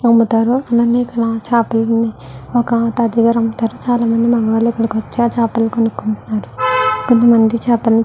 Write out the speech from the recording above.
అమ్ముతారు అలాగే ఇక్కడ చాపలు అన్ని ఒక తాతయ్య గారు అమ్ముతారు చాల మంది మగవాళ్ళు ఇక్కడికి వచ్చి ఆ చాపలు కొనుకుంటున్నారు కొంతమంది చేపలు ని --